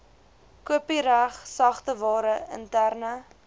kopiereg sagteware interne